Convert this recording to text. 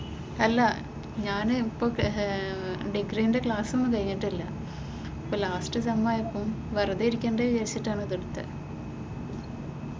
അല്ല ഞാൻ ഇപ്പം ഏർ ഇപ്പോൾ ഡിഗ്രിയ്‌ന്റെ ക്ലാസ് ഒന്നും കഴിഞ്ഞിട്ടില് ഇപ്പം ലാസ്‌റ് സെം ആയപ്പോൾ വെറുതെ ഇരിക്കേണ്ട എന്ന് വിചാരിച്ചിട്ടാണ്‌ ഇത് എടുത്തത്.